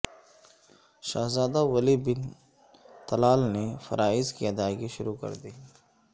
شہزادہ Walid bin Talal نے فرائض کی ادائیگی شروع کردی